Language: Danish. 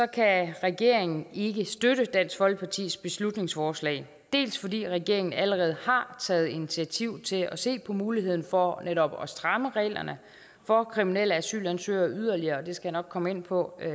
kan regeringen ikke støtte dansk folkepartis beslutningsforslag dels fordi regeringen allerede har taget initiativ til at se på muligheden for netop at stramme reglerne for kriminelle asylansøgere yderligere og det skal jeg nok komme ind på